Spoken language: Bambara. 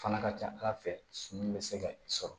Fana ka ca ala fɛ suman bɛ se ka i sɔrɔ